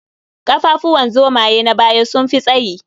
Ƙafafuwan zomaye na baya sun fi tsayi.